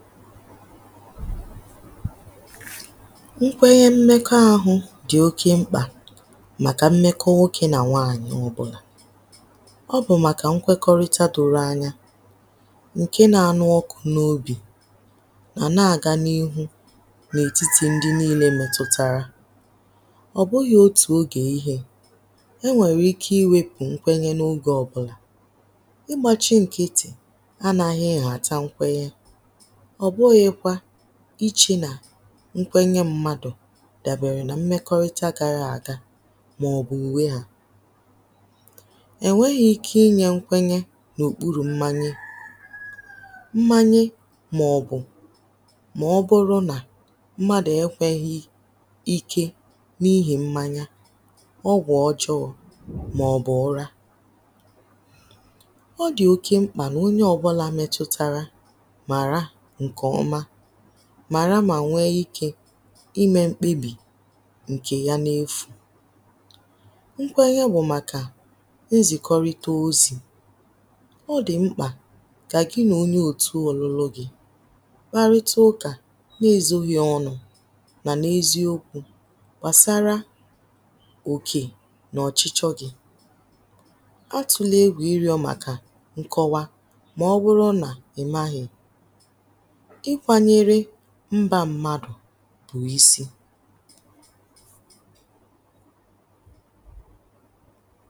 ikwēnyē imekọ ahụ̄ dị̀ oke mkpà màkà imekọ nwokē nà nwaànyị̀ ọbụ̄là ọ bụ̀ màkà nkwekọrịta dụra anya ǹke na nụ ọkụ̄ n’obì mà na gā n’ihu n’ètitì ndị niilē metụtara ọ̀ bụghị̄ otù ogè ihē éŋʷèrè íké íwēpʊ̀ ŋ́kʷéɲé ná ógè ɔ́bʊ̄làọbụ̄là ịgbāchị nkịtị̀ anāhị họ̀cha nkwe ọ̀ bụghị̄ kwā ịchị̄ nà nkwenye mmadụ̀ dàbèrè nà imekọrịta gara àga maọ̀bʊ̀ ùwe hā èweghī ike inyē nkwenye n’òkpurù mmanya mmanyị maọbụ maọbụrụ nà mmadụ̀ ekwēghi ike n’ihi mmanya ọgwụ̀ ọjọọ maọ̀bụ ụra ọ dị̀ oke mkpà nà onye ọbụ̄là metutara màra ǹkè ọma màra mà nwe ikē imē mkpegbì ǹkè ya na-efù nkwenye wụ̀ màkà izì kọrịta ozì ọ dị̀ mkpà kà gị n’onye òtu ọ̀lụlụ gị̄ kparịtụ ụkà na-ezōghi ọnụ̄ mà n’eziokwū gbàsara òkè na-ọ̀chịchị ọ gị̄ atụ̀lè egwù ịrịọ̄ màkà nkọwa maọbụrụ nà ị̀maghị̀ ịkwānyere mbā mmadụ̀ pù isi